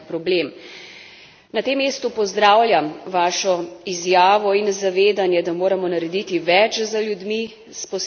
Na tem mestu pozdravljam vašo izjavo in zavedanje, da moramo narediti več za ljudi s posebnimi potrebami.